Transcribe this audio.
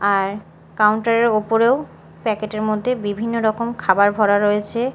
আর counter -এর ওপরেও packet -এর মধ্যে বিভিন্ন রকম খাবার ভরা রয়েছে।